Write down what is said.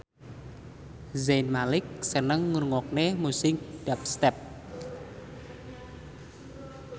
Zayn Malik seneng ngrungokne musik dubstep